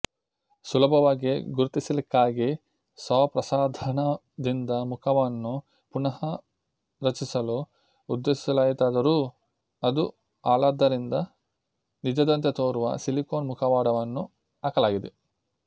ಸುಲಭವಾಗಿ ಗುರುತಿಸಲಿಕ್ಕಾಗಿ ಶವಪ್ರಸಾಧನದಿಂದ ಮುಖವನ್ನು ಪುನಃ ರಚಿಸಲು ಉದ್ದೇಶಿಸಲಾಯಿತಾದರೂ ಅದು ಹಾಳಾದ್ದರಿಂದ ನಿಜದಂತೆ ತೋರುವ ಸಿಲಿಕೋನ್ ಮುಖವಾಡವನ್ನು ಹಾಕಲಾಗಿದೆ